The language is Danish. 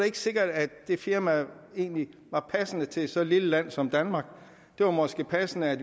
ikke sikkert at det firma egentlig var passende til så lille et land som danmark det var måske passende at